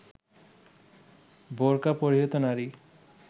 বোরকা পরিহিত নারী